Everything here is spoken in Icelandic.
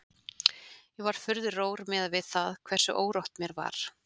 Ég var furðu rór miðað við það hversu órótt mér var.